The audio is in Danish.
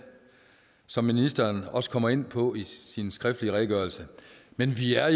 som ministeren også kommer ind på i sin skriftlige redegørelse men vi er